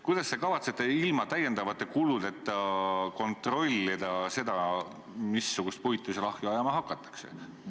Kuidas te kavatsete ilma täiendavate kuludeta kontrollida seda, missugust puitu seal ahju ajama hakatakse?